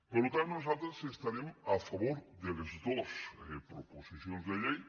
per tant nosaltres estarem a favor de les dos proposicions de llei